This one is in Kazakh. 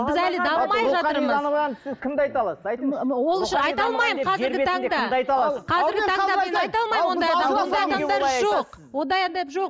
рухани дамыған сіз кімді айта аласыз айтыңызшы ондай адам жоқ